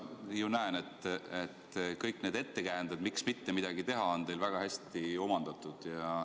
Ma ju näen, et kõik need ettekäänded, miks mitte midagi teha, on teil väga hästi omandatud.